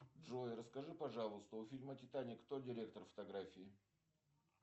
джой расскажи пожалуйста у фильма титаник кто директор фотографии